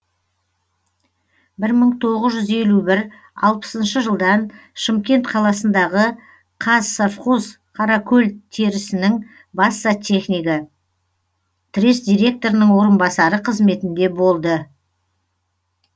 бір мың тоғыз жүз елу бір алпысыншы жылдан шымкент қаласындағы қазсовхоз қаракөлтерісінің бас зоотехнигі трест директорының орынбасары қызметінде болды